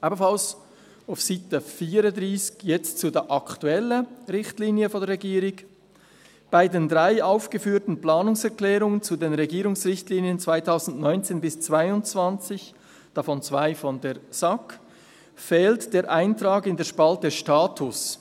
Ebenfalls auf Seite 34, jetzt zu den aktuellen Richtlinien der Regierung: Bei den drei aufgeführten Planungserklärungen zu den Regierungsrichtlinien 2019–2022, davon zwei von der SAK, fehlt der Eintrag in der Spalte «Status».